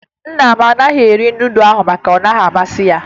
Nna m agaghị eri nudụ ahụ maka ọ naghị amasị ya